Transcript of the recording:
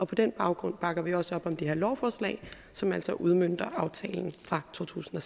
på den baggrund bakker vi også op om det her lovforslag som altså udmønter aftalen fra totusinde